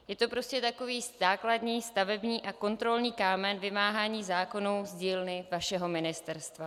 Je to prostě takový základní stavební a kontrolní kámen vymáhání zákonů z dílny vašeho ministerstva.